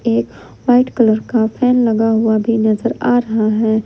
ये white colour का fan लगा हुआ भी नजर आ रहा है।